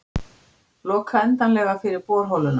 Loka endanlega fyrir borholuna